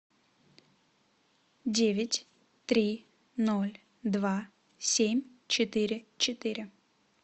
девять три ноль два семь четыре четыре